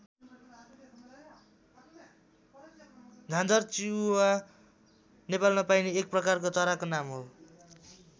झाँझर चिउवा नेपालमा पाइने एक प्रकारको चराको नाम हो।